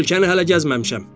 Ölkəni hələ gəzməmişəm.